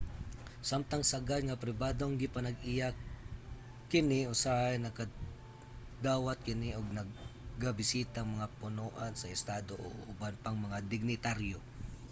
samtang sagad nga pribadong gipanag-iya kini usahay nagadawat kini og nagabisitang mga punoan sa estado ug uban pang mga dignitaryo